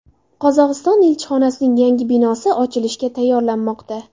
Qozog‘iston elchixonasining yangi binosi ochilishga tayyorlanmoqda.